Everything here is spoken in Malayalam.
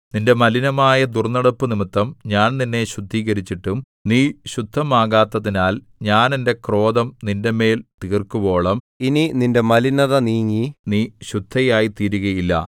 നിന്റെ മലിനമായ ദുർന്നടപ്പുനിമിത്തം ഞാൻ നിന്നെ ശുദ്ധീകരിച്ചിട്ടും നീ ശുദ്ധമാകാത്തതിനാൽ ഞാൻ എന്റെ ക്രോധം നിന്റെമേൽ തീർക്കുവോളം ഇനി നിന്റെ മലിനത നീങ്ങി നീ ശുദ്ധയായിത്തീരുകയില്ല